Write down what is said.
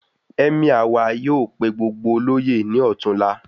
Emir wà yóò pé gbogbo oloye ní ọtunla